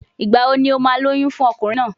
Ìgbà wo ni o máa lóyún fún ọkùnrin náà?